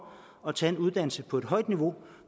at tage en uddannelse på højt niveau